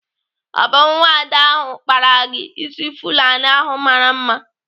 Ọ bụ nwada ahụ kpara gị ịsị Fulani ahụ mara mma?